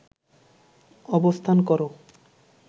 অবস্থান কর